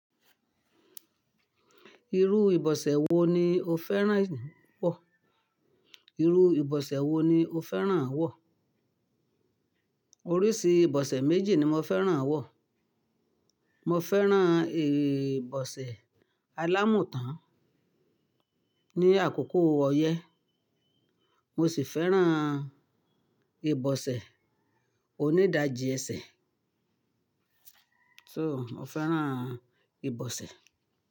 Irú ìbọ̀sẹ̀ wo ni o fẹ́ràn wọ̀? Irú ìbọ̀sẹ̀ wo ni o fẹ́ràn à wọ̀? Oríṣi ìbọ̀sẹ̀ méjì ni mo fẹ́ràn à wọ̀. Mo fẹ́ràn ìbọ̀sẹ̀ alámùtán ní àkókò ọyẹ́, mo sì fẹ́ràn ìbọ̀sẹ̀ onídajì ẹ̀sẹ̀. So, mo fẹ́ràn ìbọ̀sẹ̀